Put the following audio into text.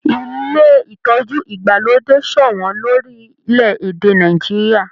Ilé ìtọjú ìgbàlódé sọwọn lorilẹ èdè Nàìjíríà.